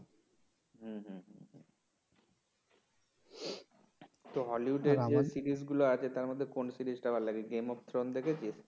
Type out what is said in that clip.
তো হলিউড এর যে সিরিজগুলো আছে তার মধ্যে কোন সিরিজটা ভাল লাগে গেম অফ থ্রন দেখেছিস?